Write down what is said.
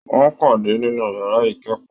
Wọn pàdé nínú yàrá ikẹkọọ.